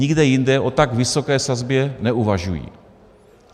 Nikde jinde o tak vysoké sazbě neuvažují.